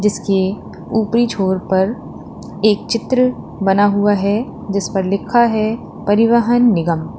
जिसके ऊपरी छोर पर एक चित्र बना हुआ है जिस पर लिखा है परिवहन निगम।